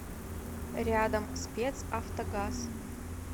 рядом спецавтогаз